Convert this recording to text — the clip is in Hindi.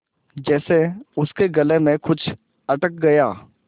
जैसे उसके गले में कुछ अटक गया